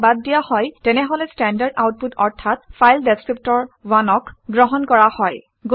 যদি ইয়াক বাদ দিয়া হয় তেনেহলে ষ্টেণ্ডাৰ্ড আউটপুট অৰ্থাৎ ফাইল ডেচক্ৰিপ্টৰ 1 অক গ্ৰহণ কৰা হয়